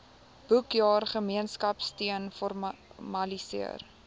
boekjaar gemeenskapsteun formaliseer